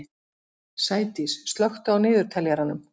Sædís, slökktu á niðurteljaranum.